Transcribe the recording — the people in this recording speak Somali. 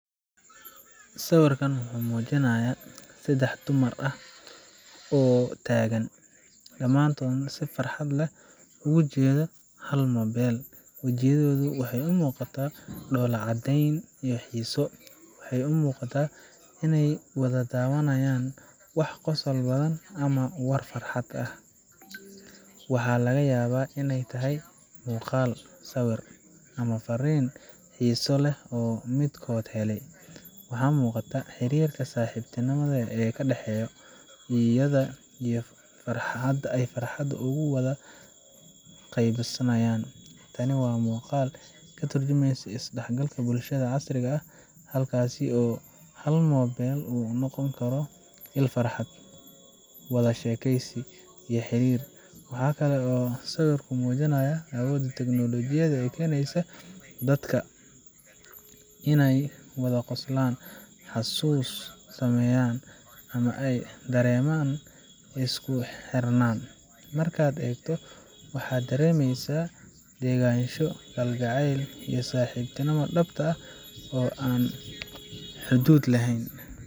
Sawirkan wuxuu muujinayaa saddex dumar ah oo isku dhow fadhiya ama taagan, dhammaantoodna si farxad leh ugu jeeda hal moobil. Wajiyadoodu waxay ka muuqataa dhoola caddeyn iyo xiise. Waxay u muuqdaan inay wada daawanayaan wax qosol badan ama war farxad ah waxaa laga yaabaa in ay tahay muuqaal, sawir, ama fariin xiiso leh oo midkood helay. Waxaa muuqata xiriirka saaxiibtinimo ee ka dhexeeya, iyo sida ay farxadda ugu wada qaybsanayaan. Tani waa muuqaal ka turjumaya is dhexgalka bulshada casriga ah, halkaas oo hal moobil uu noqon karo il farxad, wada sheekeysi, iyo xiriir. Waxaa kale oo sawirku muujinayaa awoodda tignoolajiyadda ee keeneysa dadka inay wada qoslaan, xasuus sameeyaan, ama ay dareemaan isku xirnaan. Markaad eegto, waxaad dareemeysaa degganaansho, kalgacayl, iyo saaxiibtinimo dhabta ah oo aan xuduud lahayn.